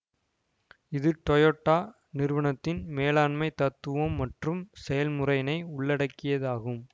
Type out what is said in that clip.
இது டொயோடா நிறுவனத்தின் மேலாண்மை தத்துவம் மற்றும் செயல்முறையினை உள்ளடக்கியதாகும்